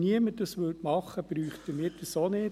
Wenn es niemand machen würde, müssten wir es auch nicht.